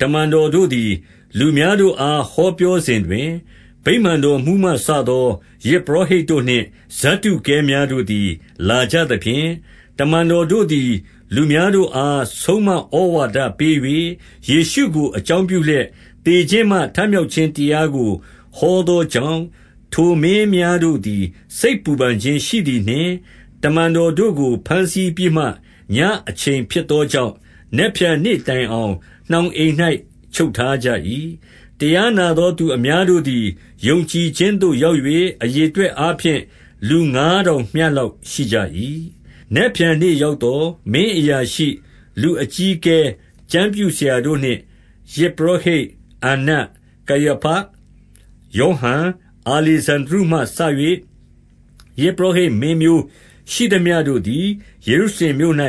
တမန်တော်တို့သည် လူများတို့အားဟောပြောစဉ်တွင်၊ ဗိမာန်တော်မှူးမှစသော ယဇ်ပုရောဟိတ် တို့နှင့် ဇဒ္ဒုကဲများတို့သည်လာကြသဖြင့်၊ တမန်တော်တို့သည် လူများတို့အားဆုံးမဩဝါဒပေး၍ ယေရှုကိုအကြောင်းပြုလျက် သေခြင်းမှ ထမြောက်ခြင်းတရားကို ဟောသောကြောင့်၊ ထိုမင်းများတို့သည် စိတ်ပူပန်ခြင်းရှိသည်နှင့်၊ တမန်တော်တို့ကိုဘမ်းဆီးပြီးမှ၊ ညအချိန်ဖြစ်သောကြောင့် နက်ဖြန်နေ့တိုင်အောင် နှောင်အိမ်၌ ချုပ်ထားကြ၏။ တရားနာသောသူအများတို့သည် ယုံကြည်ခြင်းသို့ရောက်၍ အရေအတွက်အားဖြင့် လူငါးထောင်မျှ လောက်ရှိကြ၏။ နက်ဖြန်နေ့ရောက်သော် မင်းအရာရှိ၊ လူအကြီးအကဲ၊ ကျမ်းပြုဆရာတို့နှင့်၊ ယဇ်ပုရောဟိတ်မင်းအန္နတ်၊ ကယာဖ၊ ယောဟန်၊ အာလေဇန္ဒြုမှစ၍ ယဇ်ပုရောဟိတ်မင်းမျိုးရှိမျှ တို့သည် ယေရုရှလင်မြို့၌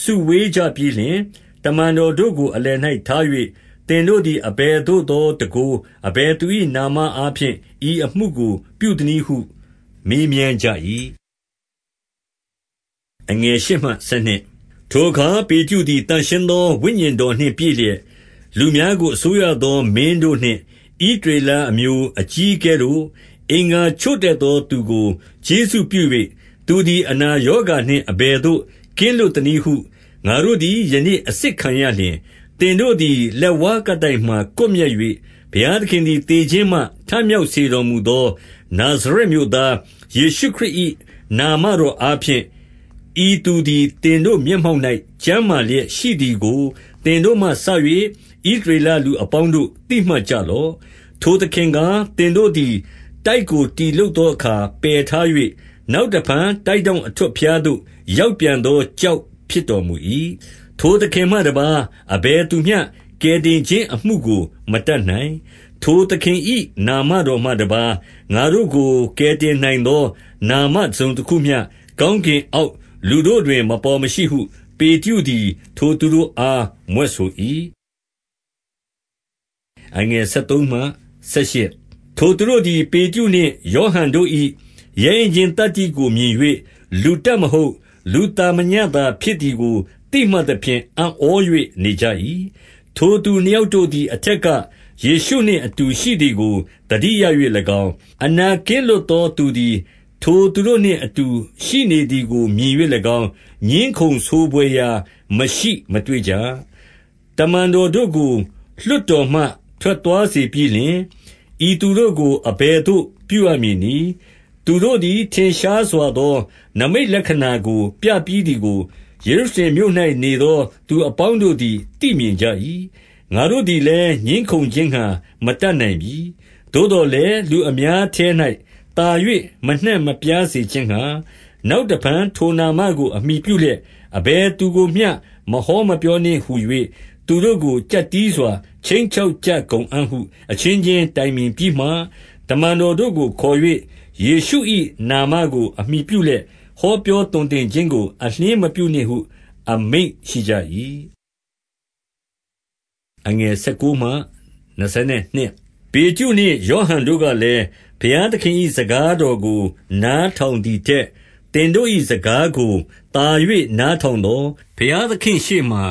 စုဝေးကြပြီးလျှင်၊ တမန်တော်တို့ကို အလယ်၌ထား၍၊ သင်တို့သည် အဘယ်သို့သောတန်ခိုး၊ အဘယ်သူ၏နာမအားဖြင့် ဤအမှုကိုပြုသနည်းဟု မေးမြန်းကြ၏။ ထိုအခါပေတရုသည် သန့်ရှင်းသော ဝိညာဉ်တော်နှင့် ပြည့်စုံလျက်၊ လူများကို အစိုးရသောမင်းတို့နှင့် ဣသရေလအမျိုးအကြီးအကဲတို့၊ အင်္ဂါချို့တဲ့သောသူကို ကျေးဇူးပြု၍၊ သူသည် အနာရောဂါနှင့် အဘယ်သို့ ကင်းလွတ်သနည်းဟု ငါတို့သည်ယနေ့အစစ်ခံရလျှင်၊ သင်တို့သည် လက်ဝါးကပ်တိုင်မှာကွပ်မျက်၍၊ ဘုရားသခင်သည် သေခြင်းမှထမြောက်စေတော်မူသော နာဇရက်မြို့သား ယေရှုခရစ်၏ နာမတော်အားဖြင့် ဤသူသည် သင်တို့မျက်မှောက်၌ ကျန်းမာလျက် ရှိသည်ကို သင်တို့မှစ၍ ဣသရေလလူအပေါင်းတို့ သိမှတ်ကြလော့။ ထိုသခင်ကား၊ သင်တို့သည်တိုက်ကို တည်လုပ်သောအခါ ပယ်ထား၍၊ နောက်တဖန် တိုက်ထောင့် အထွဋ်ဖျားသို့ရောက်ပြန်သော ကျောက်ဖြစ်တော်မူ၏။ ထိုသခင်မှတပါးအဘယ်သူမျှ ကယ်တင်ခြင်းအမှုကို မတတ်နိုင်။ ထိုသခင်၏ နာမတော်မှတပါး ငါတို့ကို ကယ်တင်နိုင်သော နာမတစုံတခုမျှ ကောင်းကင်အောက် လူတို့တွင် မပေါ်မရှိဟု ပေတရုသည် ထိုသူတို့အား မြွက်ဆို၏။ ထိုသူတို့သည် ပေတရုနှင့် ယောဟန်တို့၏ ရဲရင့် ခြင်းသတ္တိကို မြင်၍၊ လူတတ်မဟုတ်၊ လူသာမညသာ ဖြစ်သည်ကို သိမှတ်သဖြင့် အံ့ဩ၍နေကြ၏။ ထိုသူနှစ် ယောက်တို့သည် အထက်ကယေရှုနှင့်အတူ ရှိသည်ကို သတိရ၍၎င်း၊ အနာကင်းလွတ်သော သူသည် ထိုသူတို့နှင့် အတူ ရှိနေသည်ကို မြင်၍၎င်း၊ ငြင်းခုံဆိုဘွယ်ရာ မရှိမတွေ့ကြ။ တမန်တော်တို့ကိုလွှတ်တော်မှ ထွက်သွား စေပြီး လျှင်၊ ဤသူတို့ ကို အဘယ်သို့ပြုရမည်နည်း။ သူတို့သည် ထင်ရှားစွာသော နိမိတ်လက္ခဏာကို ပြပြီးသည်ကို၊ ယေရုရှလင်မြို့၌နေသော သူအပေါင်း တို့သည် သိမြင်ကြ၏။ ငါတို့သည်လည်း ငြင်းခုံခြင်းငှါ မတတ်နိုင်ပြီ။ သို့သော်လည်း လူများအထဲ၌သာ၍ မနှံ့မပြား စေခြင်းငှါ၊ နောက်တဖန် ထိုနာမကို အမှီပြုလျက် အဘယ်သူကိုမျှ မဟောမပြောနှင့် ဟူ၍ သူတို့ကို ကျပ်တည်းစွာ ခြိမ်းချောက်ကြကုန်အံ့ဟု အချင်းချင်းတိုင် ပင်ပြီးမှ၊ တမန်တော်တို့ကိုခေါ်၍၊ ယေရှု၏ နာမကို အမှီပြုလျက် ဟောပြောသွန်သင်ခြင်းကို အလျှင်းမပြုနှင့် ဟု အမိန့်ရှိကြ၏။ ပေတရုနှင့် ယောဟန်တို့ကလည်း၊ ဘုရားသခင်၏ စကားတော် ကိုနားထောင်သည်ထက် သင်တို့၏ စကားကိုသာ၍နားထောင်သော်၊ ဘုရားသခင့်ရှေ့မှာ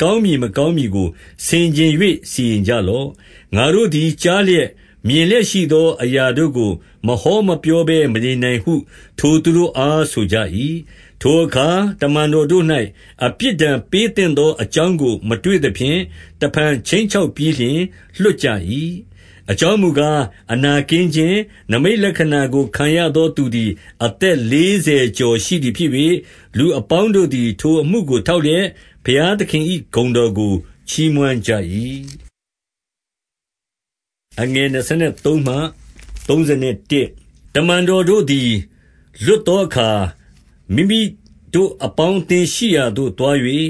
ကောင်းမည်မကောင်းမည်ကို ဆင်ခြင်၍ စီရင်ကြ လော့။ ငါတို့သည်ကြားလျက်၊ မြင်လျက်ရှိသောအရာ တို့ကိုမဟော မပြောဘဲမနေနိုင်ဟု ထိုသူတို့အား ဆိုကြ၏။ ထိုအခါတမန်တော်တို့၌ အပြစ်ဒဏ်ပေးသင့် သော အကြောင်းကို မတွေ့သဖြင့် တဖန် ခြိမ်းချောက် ပြီးလျှင်လွှတ်ကြ၏။ အကြောင်းမူကား၊ အနာကင်းခြင်း နိမိတ် လက္ခဏာကို ခံရသော သူသည် အသက်လေးဆယ်ကျော် ရှိသည်ဖြစ်၍ လူအပေါင်းတို့သည် ထိုအမှုကို ထောက်လျက် ဘုရားသခင်၏ ဂုဏ်တော်ကိုချီးမွမ်းကြ၏။ တမန်တော်တို့သည် လွတ်သောအခါ၊ မိမိတို့ အပေါင်းအသင်း ရှိရာသို့သွား၍၊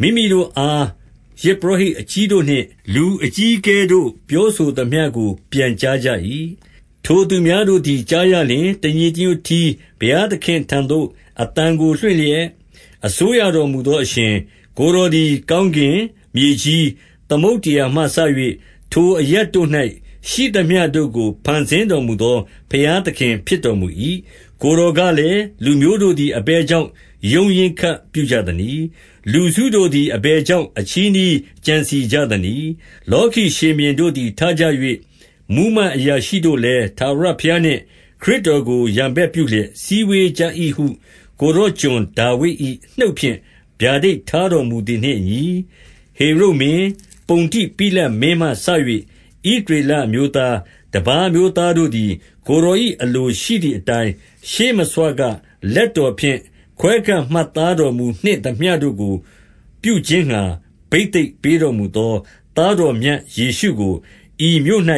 မိမိတို့အား ယဇ်ပုရောဟိတ် အကြီးတို့နှင့် လူအကြီးအကဲတို့ ပြောဆိုသမျှကို ပြန်ကြားကြ၏။ ထိုသူများတို့သည်ကြားရလျှင်၊ တညီတညွတ် တည်း ဘုရားသခင့် ထံသို့အသံကိုလွှင့်လျက်၊ အစိုးရတော် မူသေအရှင်၊ ကိုယ်တော်သည် ကောင်းကင်၊ မြေကြီး၊ သမုဒ္ဒရာမှစ၍ ထိုအရပ်တို့၌ ရှိသမျှတို့ကို ဖန်ဆင်းတော်မူသော ဘုရားသခင်ဖြစ်တော်မူ၏။ ကိုယ်တော်ကလည်း၊ လူမျိုးတို့သည် အဘယ် ကြောင့် ရုန်းရင်းခတ် ပြုကြသနည်း။ လူစုတို့သည် အဘယ်ကြောင့် အချည်းနှီး ကြံစည်ကြသနည်း။ လောကီရှင်ဘုရင်တို့သည် ထကြ၍၊ မှူးမတ် အရာရှိတို့လည်း ထာဝရဘုရားနှင့် ခရစ်တော်ကို ရန်ဘက်ပြုလျက် စည်းဝေးကြ၏ဟု ကိုယ်တော် ကျွန်ဒါ ဝိဒ်၏ နှုတ်ဖြင့်ဗျာဒိတ်ထားတော်မူသည်နှင့်အညီ၊ ဟေရုဒ်မင်း၊ ပုန္တိပိလတ်မင်းမှစ၍ ဣသရေလ အမျိုးသား၊ တပါး အမျိုးသားတို့သည်၊ ကိုယ်တော်၏ အလိုရှိသည်အတိုင်း၊ ရှေးမဆွ ကလက်တော်ဖြင့် ခွဲခန့်မှတ်သားတော်မူနှင့်သမျှတို့ကို ပြုခြင်းငှါ ဘိသိတ်ပေးတော်မူသော သားတော်မြတ် ယေရှုကို ဤမြို့၌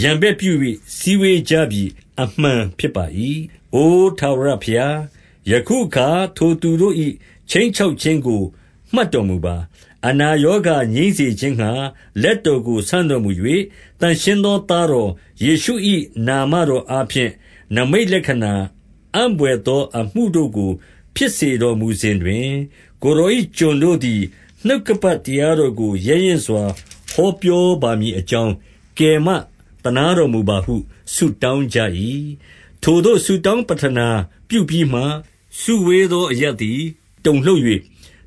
ရန်ဘက်ပြု၍ စည်းဝေးကြပြီ၊ အမှန် ဖြစ်ပါ၏။ အိုထာဝရဘုရား၊ ယခုအခါ ထိုသူတို့၏ ခြိမ်း ချောက်ခြင်းကို မှတ်တော်မူပါ။ အနာရောဂါငြိမ်းစေခြင်းငှါ လက်တော်ကို ဆန့်တော်မူ၍၊ သန့်ရှင်းသော သားတော်ယေရှု၏ နာမ တော်အားဖြင့် နိမိတ်လက္ခဏာ၊ အံ့ဘွယ်သောအမှုတို့ကို ဖြစ်စေတော်မူစဉ်တွင်၊ ကိုယ်တော်၏ ကျွန်တို့ သည် နှုတ်ကပတ်တရားတော်ကို ရဲရင့်စွာ ဟောပြောပါမည် အကြောင်း ကယ်မတော် သနားတော်မူပါဟု ဆုတောင်း ကြ၏။ ထိုသို့ဆုတောင်းပဌနာပြုပြီးမှ၊ စုဝေးသော အရပ်သည် တုန်လှုပ်၍၊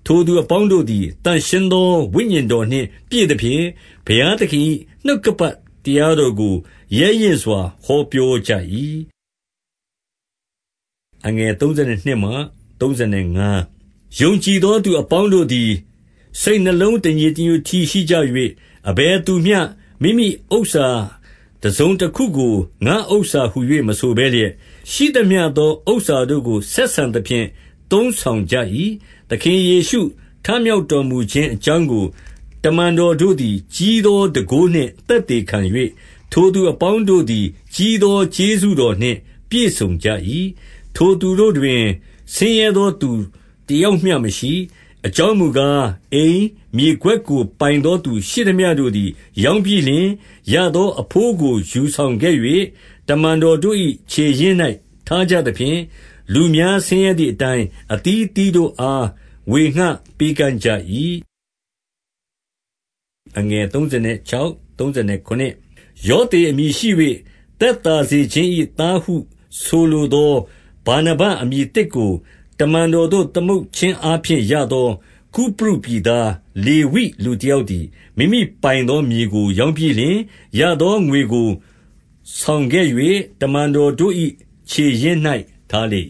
ထိုသူအပေါင်းတို့သည် သန့်ရှင်း သော ဝိညာဉ်တော်နှင့် ပြည့်သဖြင့်၊ ဘုရားသခင်၏ နှုတ်ကပတ်တရားတော်ကို ရဲ့ရင့်စွာဟော ပြောကြ၏။ ယုံကြည်သောသူအပေါင်းတို့သည် စိတ်နှလုံး တညီတညွတ် တည်းရှိကြ၍၊ အဘယ်သူမျှ မိမိဥစ္စာတစုံ တခုကို ငါ့ဥစ္စာဟူ၍မဆိုဘဲလျက်၊ ရှိသမျှသောဥစ္စာတို့ကို ဆက်ဆံသဖြင့် သုံးဆောင်ကြ၏။ သခင်ယေရှု ထမြောက်တော်မူခြင်း အကြောင်း ကို တမန်တော် တို့သည် ကြီးသော တန်ခိုးနှင့် သက်သေခံ ၍၊ ထိုသူအပေါင်းတို့သည် ကြီးသော ကျေးဇူးတော်နှင့် ပြည့်စုံကြ၏။ ထိုသူတို့တွင် ဆင်းရဲသောသူတယောက်မျှမရှိ။ အကြောင်း မူကား၊ အိမ်၊ မြေကွက်ကို ပိုင်သော သူရှိသမျှ တို့သည် ရောင်းပြီးလျှင်၊ ရသောအဘိုးကိုယူဆောင်ခဲ့၍၊ တမန်တော်တို့၏ ခြေရင်း၌ထားကြသဖြင့်၊ လူများဆင်းရဲသည်အတိုင်း အသီးအသီးတို့အား ဝေငှပေး ကမ်းကြ၏။ ယောသေအမည်ရှိ၍ သက်သာစေခြင်း၏ သားဟုဆိုလိုသော ဗာနဗအမည်သစ်ကို တမန်တော်တို့ သမုတ်ခြင်းအားဖြင့်ရသော ကုပရုပြည်သား လေဝိ လူတယောက်သည်၊ မိမိပိုင်သော မြေကိုရောင်းပြီးလျှင်၊ ရသော ငွေကိုယူဆောင်ခဲ့၍ တမန်တော်တို့၏ ခြေရင်း၌ ထားလေ